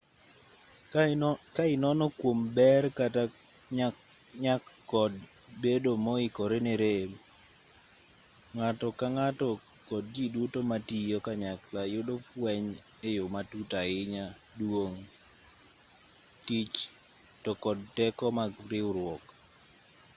ka inono kuom ber kata nyak kod bedo moikore ne rem ng'ato ka ng'ato kod ji duto matiyo kanyakla yudo fueny e yo matut ahinya duong' tich to kod teko mag riwruok